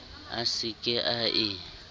a se ke a e